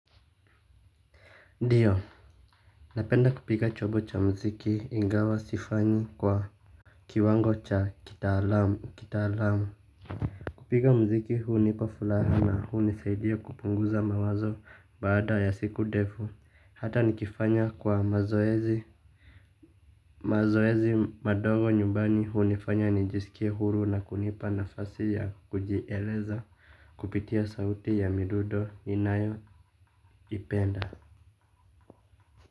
Ndio napenda kupiga chombo cha mziki, ingawa sifanyi kwa kiwango cha kitaalamu kitaalamu. Kupiga muziki huu hunipa furaha, na hunisaidia kupunguza mawazo baada ya siku ndefu hata nikifanya kwa mazoezi, mazoezi madogo nyumbani hunifanya nijisikie huru, na kunipa nafasi ya kujieleza. Kupitia sauti ya midundo ninayoipenda.